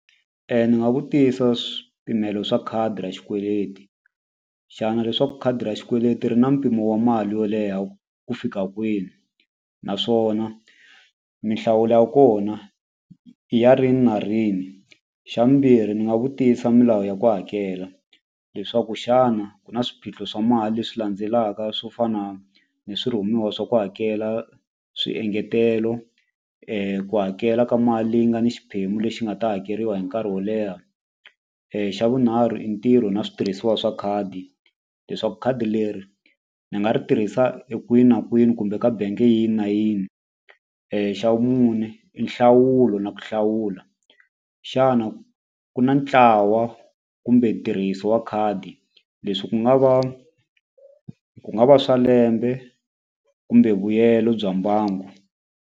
Ndzi nga vutisa swipimelo swa khadi ra xikweleti xana leswaku khadi ra xikweleti ri na mpimo wa mali yo leha ku fika kwini naswona mihlawulo ya kona i ya rini na rini xavumbirhi ni nga vutisa milawu ya ku hakela leswaku xana ku na swiphiqo swa mali leswi landzelaka swo fana ni swirhumiwa swa ku hakela swiengetelo ku hakela ka mali leyi nga ni xiphemu lexi nga ta hakeriwa hi nkarhi wo leha i ntirho na switirhisiwa swa khadi leswaku khadi leri ni nga ri tirhisa e kwini na kwini kumbe ka benge yini na yini xa vumune i nhlawulo na ku hlawula xana ku na ntlawa kumbe ntirhiso wa khadi leswi ku nga va ku nga va swa lembe kumbe vuyelo bya mbangu.